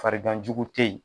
Fariganjugu te yen